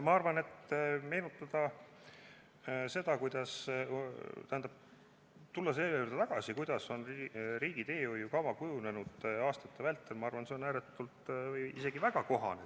Ma arvan, et meenutada seda, tähendab, tulla selle juurde tagasi, kuidas on riigi teehoiukava kujunenud aastate vältel, on isegi väga kohane.